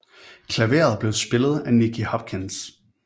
Klaveret blev spillet af Nicky Hopkins